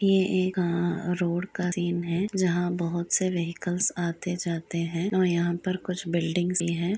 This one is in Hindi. ये एक आं रोड का सीन है जहाँ बोहोत से व्हीकल्स आते-जाते हैं औ यहाँ पर कुछ बिल्डिंग्स भी हैं।